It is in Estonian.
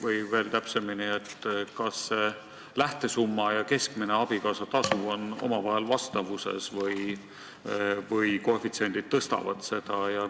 Või veel täpsemini: kas see lähtesumma ja keskmine abikaasatasu on omavahel vastavuses või koefitsiendid tõstavad seda?